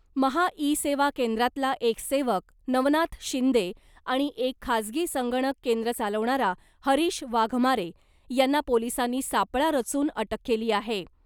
' Maha e Seva ' केंद्रातला एक सेवक नवनाथ शिंदे आणि एक खाजगी संगणक केंद्र चालवणारा हरीश वाघमारे , यांना पोलिसांनी सापळा रचून अटक केली आहे .